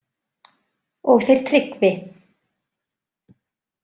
Og þeir Tryggvi.